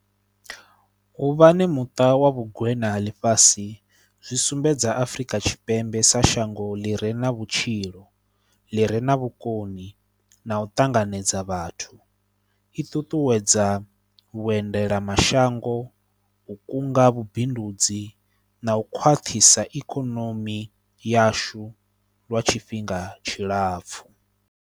U vhani muṱa wa vhugweṋa dza ḽifhasi zwi sumbedza Afrika Tshipembe sa shango ḽi re na vhutshilo, ḽi re na vhukoni na u ṱanganedza vhathu, i ṱuṱuwedza vhuendela mashango, u kunga vhubindudzi na u khwaṱhisa ikonomi yashu lwa tshifhinga tshilapfhu.